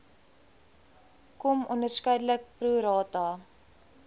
km onderskeidelik prorata